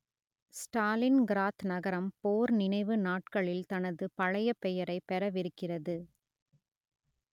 Stalingrad நகரம் போர் நினைவு நாட்களில் தனது பழைய பெயரைப் பெறவிருக்கிறது